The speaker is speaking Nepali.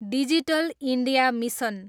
digital India mission